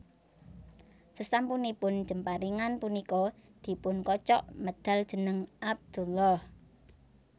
Sasampunipun jemparingan punika dipun kocok medhal jeneng Abdullah